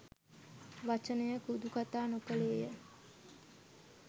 වචනයකුදු කතා නොකළේය.